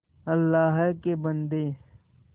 अल्लाह के बन्दे